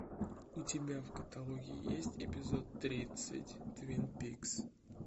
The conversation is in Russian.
у тебя в каталоге есть эпизод тридцать твин пикс